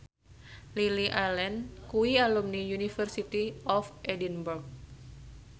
Lily Allen kuwi alumni University of Edinburgh